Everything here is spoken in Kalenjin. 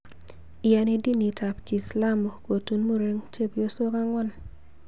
Iyani dinit ab kiislamu Kotun muren chebyosok angwan